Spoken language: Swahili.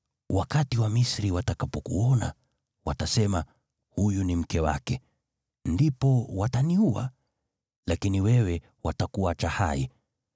Wakati Wamisri watakapokuona, watasema, ‘Huyu ni mke wake.’ Ndipo wataniua, lakini wewe watakuacha hai.